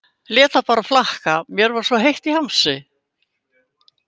Lét það bara flakka, mér var svo heitt í hamsi.